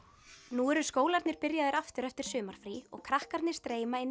nú eru skólarnir byrjaðir aftur eftir sumarfrí og krakkarnir streyma inn í